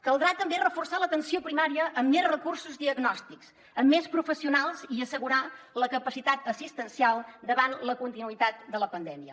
caldrà també reforçar l’atenció primària amb més recursos diagnòstics amb més professionals i assegurar la capacitat assistencial davant la continuïtat de la pandèmia